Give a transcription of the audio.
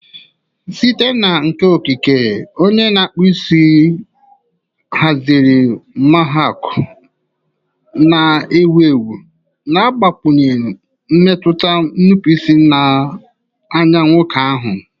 Site na nka nkenke, onye na-akpụ isi haziri mohawk na-ewu ewu, na-agbakwụnye mmetụ nnupụisi na anya nwoke ahụ.